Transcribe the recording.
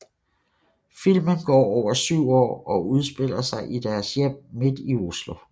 Filmen går over syv år og udspiller sig i deres hjem midt i Oslo